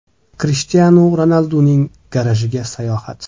Krishtianu Ronalduning garajiga sayohat .